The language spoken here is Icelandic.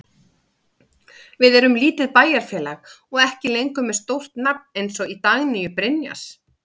Við erum lítið bæjarfélag og ekki lengur með stórt nafn eins og Dagnýju Brynjars.